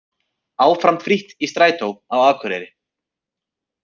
Áfram frítt í strætó á Akureyri